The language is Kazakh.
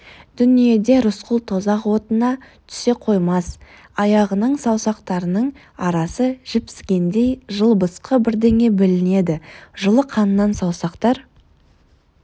дүниеде рысқұл тозақ отына түсе қоймас аяғының саусақтарының арасы жіпсігендей жылбысқы бірдеңе білінеді жылы қаннан саусақтар